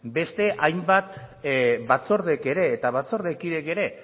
beste hainbat batzordek ere eta batzordekideek ere